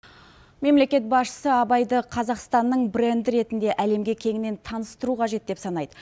мемлекет басшысы абайды қазақстанның бренді ретінде әлемге кеңінен таныстыру қажет деп санайды